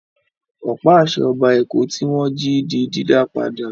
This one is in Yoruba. Ọ̀pá-àṣẹ Ọba Èkó tí wọ́n jí di dídá padà.